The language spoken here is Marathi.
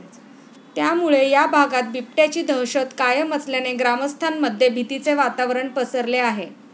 त्यामुळे या भागात बिबट्याची दहशत कायम असल्याने ग्रामस्थांमध्ये भीतीचे वातावरण पसरले आहे.